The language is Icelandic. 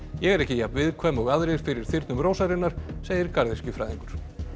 ég er ekki jafn viðkvæm og aðrir fyrir þyrnum rósarinnar segir garðyrkjufræðingur